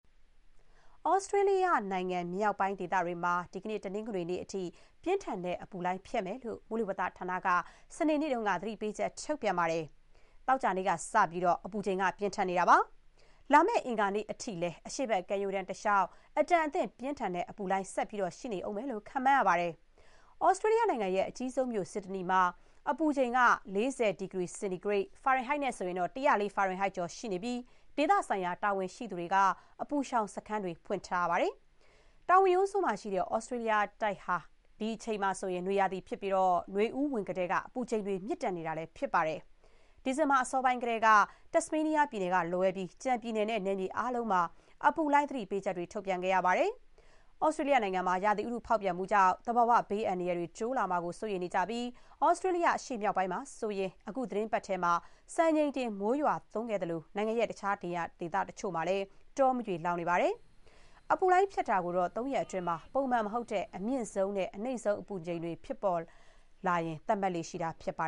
ဩစတြေးလျ နိုင်ငံမြောက်ပိုင်းဒေသတွေမှာ ဒီနေ့ တနင်္ဂနွေနေ့အထိ ပြင်းထန်တဲ့အပူလှိုင်း ဖြတ်မယ်လို့ မိုးလေဝသဌာနက စနေနေ့က သတိပေးချက်ထုတ်ပြန်ပါတယ်။ ပြီးခဲ့တဲ့ သောကြာနေ့ကစပြီး အပူချိန်က ပြင်းထန်ခဲ့တာပါ။ လာမယ့် အင်္ဂါနေ့အထိလည်း အရှေ့ဘက်ကမ်းရိုးတန်းတလျှောက် အတန်အသင့်ပြင်းထန်တဲ့ အပူလှိုင်းဆက်ရှိနေဦးမယ်လို့ ခန့်မှန်းရပါတယ်။ သြစတြေးလျရဲ့အကြီးဆုံးမြို ဆစ်ဒနီမြို့မှာ အပူချိန်က ၄၀ ဒီဂရီစင်တီဂရိတ် (၁၀၄ ဖာရင်ဟိုက်) ကျော်ရှိနေပြီး ဒေသဆိုင်ရာတာဝန်ရှိသူတွေက အပူရှောင်စခန်းတွေ ဖွင့်ထားရပါတယ်။ တောင်ဝင်ရိုးစွန်းမှာ ရှိတဲ့ ဩစတေးလျတိုက်ဟာ ဒီအချိန်က နွေရာသီဖြစ်ပြီး နွေဦးဝင်ကတည်းက အပူချိန်တွေ မြင့်တက်နေတာလည်း ဖြစ်ပါတယ်။ ဒီဇင်ဘာအစောပိုင်းကတည်းက တက်စမေးနီးယားပြည်နယ်ကလွဲပြီး ကျန် ပြည်နယ်နဲ့ နယ်မြေအားလုံးမှာ အပူလှိုင်းသတိပေးချက် ထုတ်ပြန်ခဲ့ရပါတယ်။ သြစတြေးလျမှာ ရာသီဥတုဖောက်ပြန်မှုကြောင့် သဘာဝဘေးအန္တရာယ်တွေတိုးလာမှာကို စိုးရိမ်နေကြပြီး သြစတြေးလျအရှေ့မြောက်ပိုင်းမှာဆိုရင် အခုသီတင်းပတ်ထဲမှာ စံချိန်တင်မိုးရွာသွန်းခဲ့သလို နိုင်ငံရဲ့ တခြားနေရာတချို့မှာတော့ တောမီးတွေလောင်နေပါတယ်။ အပူလှိုင်းဖြတ်တာကိုတော့ သုံးရက်အတွင်း ပုံမှန်မဟုတ်တဲ့ အမြင့်ဆုံးနဲ့ အနိမ့်ဆုံးအပူချိန်တွေ ဖြစ်ပေါ်လာရင် သတ်မှတ်လေ့ရှိတာပါ